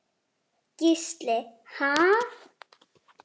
Gísli: Ha?